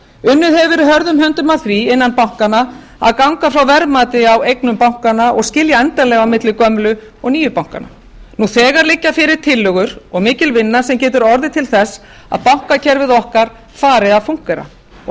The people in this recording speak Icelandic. unnið hefur verið hörðum höndum að því innan bankanna að ganga frá verðmati á eignum bankanna og skilja endanlega á milli gömlu og nýju bankanna nú þegar liggja fyrir tillögur og mikil vinna sem getur orðið til þess að bankakerfið okkar fari að funkera og